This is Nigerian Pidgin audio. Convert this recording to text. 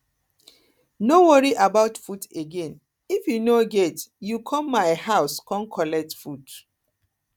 no worry about food again if you no get you come my come my house come collect food